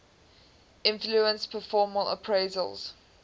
influence performance appraisals